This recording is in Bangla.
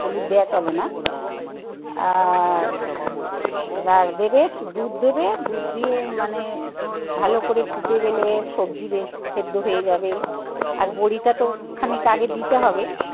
হলুদ দেওয়া চলে না. আচ্ছা আর আহ এবার দেবে দুধ দেবে দুধ দিয়ে মানে ভালো করে ফুটে গেলে সবজি বেশ সেদ্ধ হয়ে যাবে. আর বড়িটা তো খানিক আগে দিতে হবে.